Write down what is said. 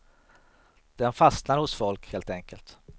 Den fastnar hos folk, helt enkelt.